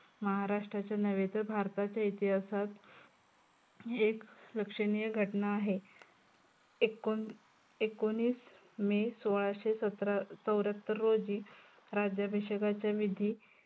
महाराष्टाच्या नव्हे, तर भारताच्या इतिहासात एक लक्षनीय घटना आहे. एकोण एकोणवीस मे सोळाशे सत्रा चौर्यात्तर रोजी राज्याभिषेकाचा विधी